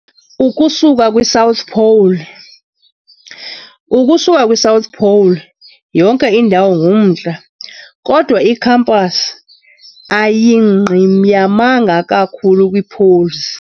Ukusuka kwi-South Pole, "ukusuka kwi"South pole", yonke indawo ngumNtla kodwa i-compass ayingqiyamanga kakhulu kwii-poles.